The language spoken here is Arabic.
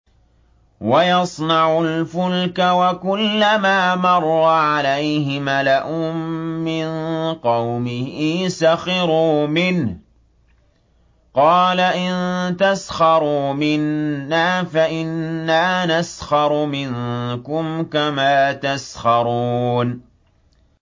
وَيَصْنَعُ الْفُلْكَ وَكُلَّمَا مَرَّ عَلَيْهِ مَلَأٌ مِّن قَوْمِهِ سَخِرُوا مِنْهُ ۚ قَالَ إِن تَسْخَرُوا مِنَّا فَإِنَّا نَسْخَرُ مِنكُمْ كَمَا تَسْخَرُونَ